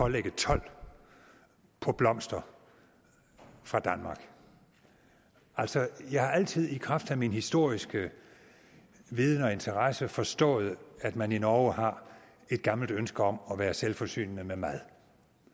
at lægge told på blomster fra danmark altså jeg har altid i kraft af min historiske viden og interesse forstået at man i norge har et gammelt ønske om at være selvforsynende med mad